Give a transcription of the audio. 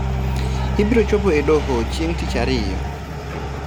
Ibiro chope e doho chieng tich ariyo